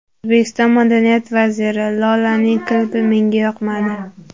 O‘zbekiston madaniyat vaziri: Lolaning klipi menga yoqmadi.